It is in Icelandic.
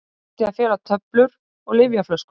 Átti að fela töflur og lyfjaflöskur